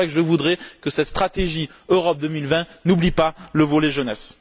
C'est pour cela que je voudrais que cette stratégie Europe 2020 n'oublie pas le volet jeunesse.